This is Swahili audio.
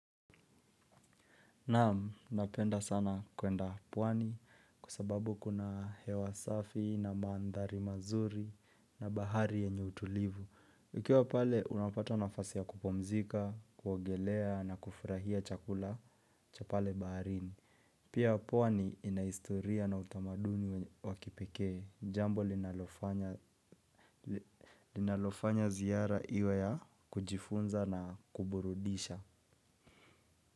Naam, napenda sana kwenda pwani kwa sababu kuna hewa safi na maandhari mazuri na bahari yenye utulivu. Ukiwa pale unapata nafasi ya kupumzika, kuogelea na kufurahia chakula cha pale baharini. Pia pwani ina historia na utamaduni wa kipekee jambo linalofanya linalofanya ziara iwe ya kujifunza na kuburudisha.